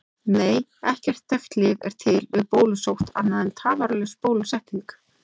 Nei, ekkert þekkt lyf er til við bólusótt annað en tafarlaus bólusetning.